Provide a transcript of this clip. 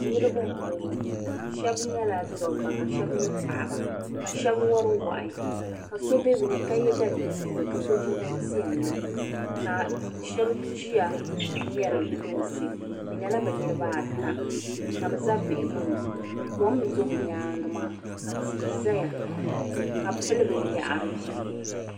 Niribi m bo ŋɔ shɛb nyela dobba ka shɛb nye paɣaba ka shɛb wari wahi ka be bɛ ni ka ye daliya buluu ka so jinjam piɛlli ka shɛb ʒiya ŋmeri lunsi bɛ nyela bɛ niribaata ka bi za bihigu ni kom n do bɛ nyaangi maa ka tii zaya ka bi pili binyahiri.